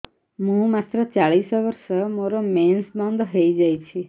ମୁଁ ମାତ୍ର ଚାଳିଶ ବର୍ଷ ମୋର ମେନ୍ସ ବନ୍ଦ ହେଇଯାଇଛି